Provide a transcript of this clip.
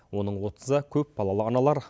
оның отызы көпбалалы аналар